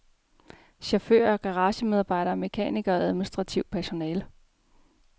Chauffører, garagemedarbejdere, mekanikere og administrationspersonale.